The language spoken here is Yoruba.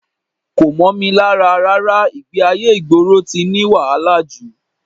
Kò mọ́ mi lára rárá, ìgbé-ayé ìgboro ti ní wàhálà jù